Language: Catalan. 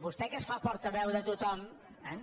vostè que es fa portaveu de tothom eh